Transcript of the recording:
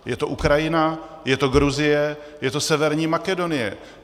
Je to Ukrajina, je to Gruzie, je to Severní Makedonie.